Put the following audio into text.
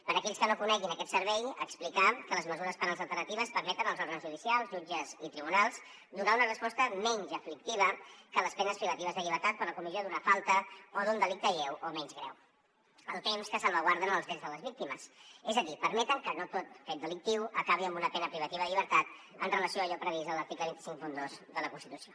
per a aquells que no coneguin aquest servei explicar que les mesures penals alternatives permeten als òrgans judicials jutges i tribunals donar una resposta menys aflictiva que les penes privatives de llibertat per la comissió d’una falta o d’un delicte lleu o menys greu al temps que salvaguarden els drets de les víctimes és a dir permeten que no tot fet delictiu acabi amb una pena privativa de llibertat amb relació a allò previst a l’article dos cents i cinquanta dos de la constitució